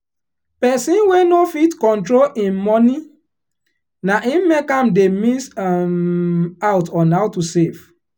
person wey no fit control him money naim make am dey miss um out on how to save